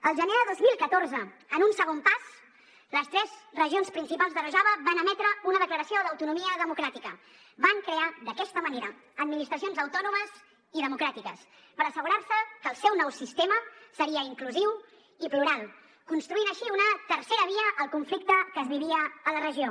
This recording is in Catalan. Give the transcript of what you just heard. al gener de dos mil catorze en un segon pas les tres regions principals de rojava van emetre una declaració d’autonomia democràtica van crear d’aquesta manera administracions autònomes i democràtiques per assegurar se que el seu nou sistema seria inclusiu i plural construint així una tercera via al conflicte que es vivia a la regió